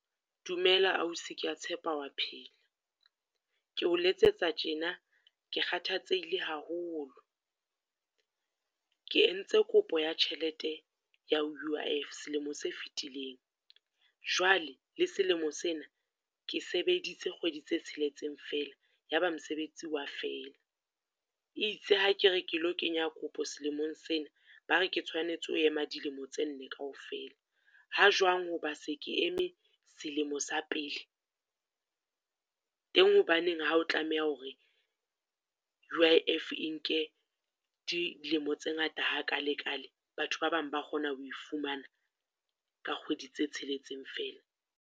Dumela ausi ke ya tshepa o wa phela, ke o letsetsa tjena ke kgathatsehile haholo. Ke ntse kopo ya tjhelete ya U_I_F selemo se fitileng, jwale le selemo sena ke sebeditse kgwedi tse tsheletseng fela ya ba mosebetsi o wa fela. E itse ha ke re ke lo kenya kopo selemong sena, ba re ke tshwanetse ho ema dilemo tse nne kaofela. Ha jwang ho ba se ke eme selemo sa pele? Teng hobaneng ha o tlameha hore U_I_F e nke dilemo tse ngata ha kalekale, batho ba bang ba kgona ho fumana ka kgwedi tse tsheletseng fela?